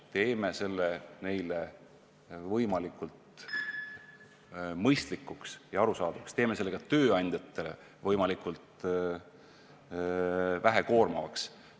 Teeme selle neile võimalikult mõistlikuks ja arusaadavaks, teeme selle ka tööandjatele võimalikult vähe koormavaks.